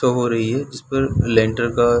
तो हो रही है जिस पर लेन्डर का --